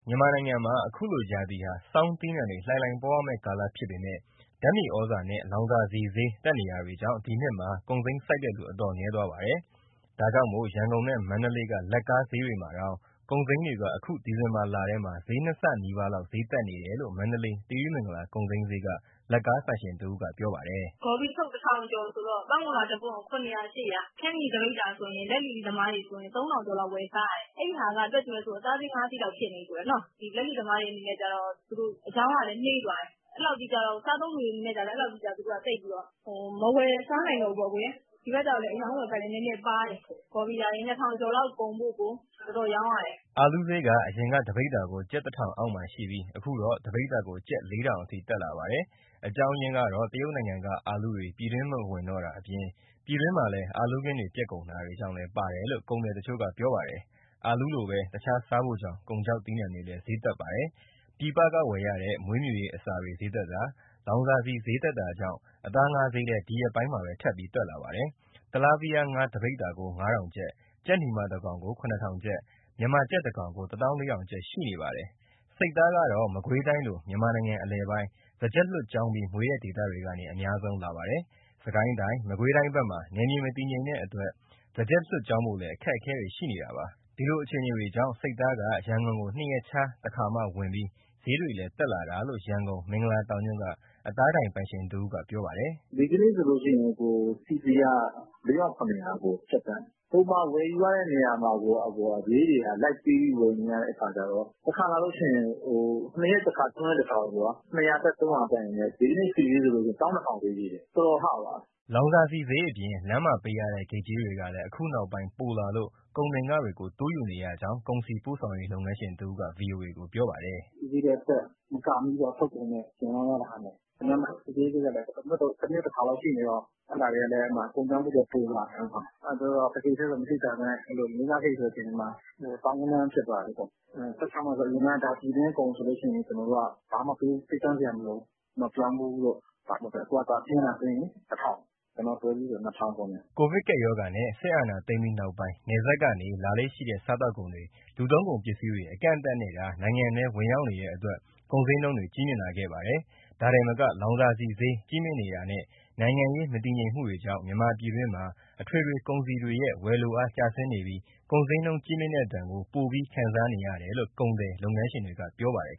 မြန်မာနိုင်ငံမှာ အခုလိုရာသီဟာ ဆောင်းသီးနှံတွေ လှိုင်လှိုင်ပေါ်ရမယ့်ကာလဖြစ်ပေမဲ့ ဓာတ်မြေဩဇာနဲ့ လောင်စာဆီဈေးတက်နေတာကြောင့် ဒီနှစ်မှာ ကုန်စိမ်းစိုက်တဲ့သူ အတော်နည်းသွားပါတယ်။ ဒါကြောင့် ရန်ကုန်နဲ့ မန္တလေးက လက်ကားဈေးတွေမှာတောင် ကုန်စိမ်းတွေက အခုဒီဇင်ဘာလထဲမှာ ဈေးနှစ်ဆ ဈေးတက်နေတယ်လို့ မန္တလေးသီရိမန္တလာ ကုန်စိမ်းဈေးက လက်ကားဆိုင်ရှင်တဦးက ပြောပါတယ်။ “ ဂေါ်ဖီတထုပ် ၁၀၀၀ ကျော်ဆိုတော့၊ ပန်းမုန်လာတပွင့်ကို ၇၀၀၊ ၈၀၀။ ခရမ်းချဉ်သီး တပိဿာဆို လက်လီသမားတွေဆိုရင် ၃,၀၀၀ ကျော်လောက် ဝယ်စားရတယ်။ အဲဒီဟာက တွက်ကြည့်မယ်ဆိုရင် အသားဈေး၊ ငါးဈေးလောက် ဖြစ်နေပြီနော့။ လက်လီသမားတွေ အနေနဲ့ကတော့ အရောင်းရလည်း နှေးသွားတယ်၊ စားသုံးသူတွေ အနေနဲ့ကျတော့ သူတို့ကသိပ်ပြီးတော့ မဝယ်စားနိုင်တော့ဘူးပေါ့။ ဒီဘက်လည်း အရောင်းအဝယ် နည်းနည်းပါးတယ်၊ ဂေါ်ဖီရာရေ ၂၀၀၀ လောက်ကုန်ဖို့ကို တော်တော်ရောင်းရတယ်။” အာလူးဈေးက အရင်က တပိဿာကို ကျပ် ၁,၀၀၀ အောက်မှာရှိပြီး အခုတော့ တပိဿာကို ကျပ် ၄,၀၀၀ အထိတက်လာပါတယ်။ အကြောင်းရင်းကတော့ တရုတ်နိုင်ငံက အာလူးတွေ ပြည်တွင်းမဝင်တော့တာ၊ ပြည်တွင်းမှာ အာလူးခင်းတွေပျက်ကုန်တာ ဒါတွေကြောင့်လည်းပါတယ်လို့ ကုန်သည်တချို့က ပြောပါတယ်။ တခြားစားဖိုဆောင် ကုန်ခြောက်သီးနှံတွေလည်း ဈေးတက်ပါတယ်။ ပြည်ပကဝယ်ရတဲ့ မွေးမြူရေးအစာတွေ ဈေးတက်တာ၊ လောင်စာဆီဈေးတက်တာကြောင်း အသား၊ ငါးဈေးလည်း ဒီရက်ပိုင်းထပ်တက်ပါတယ်။ တီလားဗီးယားငါး တပိဿာကို ၅,၀၀၀ ကျပ်၊ ကြက်နီမတကောင်ကို ၇,၀၀၀ ကျပ်၊ မြန်မာကြက်တကောင်ကို ၁၄,၀၀၀ ကျပ်ရှိပါတယ်။ ဆိတ်သားကတော့ မကွေးတိုင်းလို မြန်မာနိုင်ငံအလယ်ပိုင်း၊ စားကြက်လွှတ်ကျောင်းပြီး မွေးတဲ့ဒေသတွေကနေ အများဆုံးလာပါတယ်။ စစ်ကိုင်းတိုင်း၊ မကွေးတိုင်းဘက်မှာ နယ်မြေမတည်ငြိမ်တဲ့အတွက် စားကြက်လွှတ်ကျောင်းဖို့လည်း အခက်အခဲရှိနေပါတယ်။ ဒါကြောင့် ဆိတ်သားက ရန်ကုန်ကို ၂ ရက်ခြားတခါမှ ဝင်ပြီး ဈေးတွေလည်း တက်လာတာလို့ ရန်ကုန် မင်္ဂလာတောင်ညွန့်က အသားဒိုင်ပိုင်ရှင်တဦးက ပြောပါတယ်။ “ဒီနေ့ဆို CP (ကြက်) က ၄,၇၀၀ ကြက်သန့်။ ပုံမှန်ဝယ်ယူရတဲ့နေရာမှာ ဈေးတွေက လိုက်ပေးပြီး ဝယ်နေရတဲ့အခါကျတော့ တခါလာလို့ရှိရင် ၂ ရက်တခါ၊ ၃ ရက်တခါလောက် ၂၀၀ တက်၊ ၃၀၀ တက်ရင်း ဒီနေ့ဆိတ်ဈေးဆို ၁၂,၀၀၀ ဈေးရှိတယ်၊ တော်တော်ဟသွားတာ။” လောင်စာဆီဈေးအပြင် လမ်းမှာပေးရတဲ့ ဂိတ်ကြေးတွေကလည်း အခုနောက်ပိုင်း ပိုလာလို့ ကုန်တင်ခတွေကို တိုးယူနေရကြောင်း ကုန်စည်ပို့ဆောင်ရေး လုပ်ငန်းရှင်တဦးက ဗွီအိုအေကို ပြောပါတယ်။ “ ဆီဈေးတွေကတက် မကာမိဘူးပေါ့။ ထုတ်ကုန်နဲ့ ပြန်ရောင်းရတဲ့ဟာနဲ့။ လမ်းမှာ စစ်ဆေးရေးဂိတ်က တမြို့တခါလောက်ရှိနေတော့ အဲဒီမှာ ကုန်ကျစရိတ်တွေက ပိုလာတယ်။ တဂိတ်တည်းဆို မသိသာပေမဲ့ ၄၊ ၅ ဂိတ်ဆိုရင် သောင်းဂဏန်း ဖြစ်သွားတာလေ။ ၁၆ မိုင်ဆို အရင်ကပြည်တွင်းကုန်ဆို ဘာမှပေးကမ်းစရာမလိုဘူး၊ ပြောင်းဖူးတို့။ အခုက ဆင်းလာတာတွေ့ရင် ၁,၀၀၀၊ ကျနော်တို့တွဲကြီးဆို ၂,၀၀၀ ကုန်တယ်။” ကိုဗစ်ကပ်ရောဂါနဲ့ စစ်အာဏာသိမ်းပြီးနောက်ပိုင်း နယ်စပ်ဘက်ကလာလေ့ရှိတဲ့ စားသောက်ကုန်တွေ၊ လူသုံးကုန်ပစ္စည်းတွေ အကန့်အသတ်နဲ့သာ နိုင်ငံထဲ ဝင်ရောက်နေတဲ့အတွက် ကုန်ဈေးနှုန်းတွေ ကြီးမြင့်လာခဲ့ပါတယ်။ ဒါတင်မက လောင်စာဆီဈေး ကြီးမြင့်နေတာနဲ့ နိုင်ငံရေး မတည်ငြိမ်မှုတွေကြောင့် မြန်မာပြည်တွင်းမှာ အထွေထွေကုန်စည်တွေရဲ့ ဝယ်လိုအားကျဆင်းနေပြီး ကုန်ဈေးနှုန်းကြီးမြင့်တဲ့ဒဏ်ကို ပိုပြီးခံစားနေရတယ်လို့ ကုန်သည်၊ လုပ်ငန်းရှင်တွေက ပြောပါတယ်